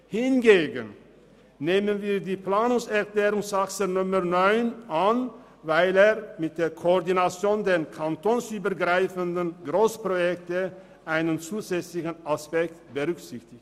Hingegen nehmen wir die Planungserklärung 9 von Grossrat Saxer an, weil sie mit der Koordination von kantonsübergreifenden Grossprojekten einen zusätzlichen Aspekt berücksichtigt.